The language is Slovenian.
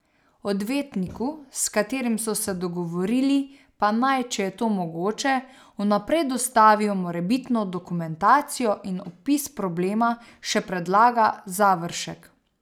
Odvetniku, s katerim so se dogovorili, pa naj, če je to mogoče, vnaprej dostavijo morebitno dokumentacijo in opis problema, še predlaga Završek.